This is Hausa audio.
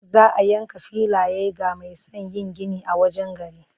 Za a yanka filaye ga mai son yin gini a wajen gari.